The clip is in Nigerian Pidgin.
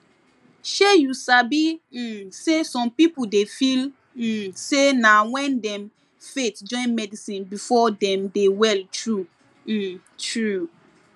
shey you sabi um say some pipo dey feel um say na wen dem faith join medicine before dem dey well true um true